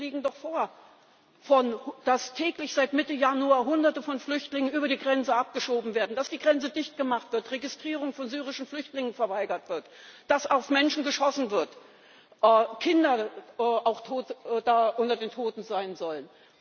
Die Berichte liegen doch vor, dass täglich seit Mitte Januar Hunderte von Flüchtlingen über die Grenze abgeschoben werden, dass die Grenze dichtgemacht wird, die Registrierung von syrischen Flüchtlingen verweigert wird, dass auf Menschen geschossen wird, auch Kinder unter den Toten sein sollen.